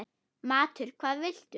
Matur: Hvað viltu?